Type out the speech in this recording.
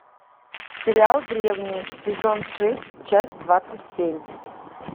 сериал древние сезон шесть часть двадцать семь